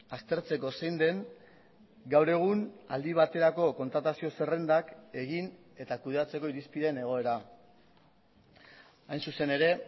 aztertzeko zein den gaur egun aldi baterako kontratazio zerrendak egin eta kudeatzeko irizpideen egoera hain zuzen ere